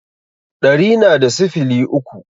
Ɗari na da sifili uku